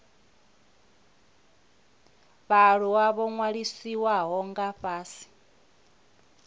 vhaaluwa ho ṅwalisiwaho nga fhasi